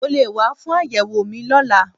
Mo lè wá fún àyẹ̀wò mi lọ́la